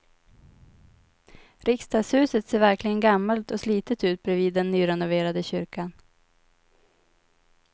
Riksdagshuset ser verkligen gammalt och slitet ut bredvid den nyrenoverade kyrkan.